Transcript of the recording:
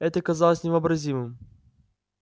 это казалось невообразимым